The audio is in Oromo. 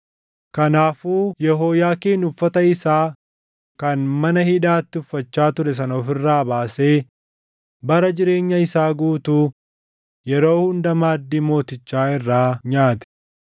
Kanaafuu Yehooyaakiin uffata isaa kan mana hidhaatti uffachaa ture sana of irraa baasee bara jireenya isaa guutuu yeroo hunda maaddii mootichaa irraa nyaate.